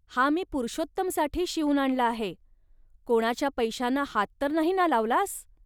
हा मी पुरुषोत्तमसाठी शिवून आणला आहे. कोणाच्या पैशांना हात तर नाही ना लावलास